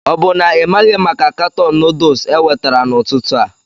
O bụ na ị maghị maka katọn noodles ewetara n'ụtụtụ a?